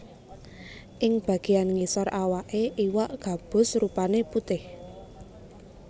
Ing bagéyan ngisor awaké iwak gabus rupané putih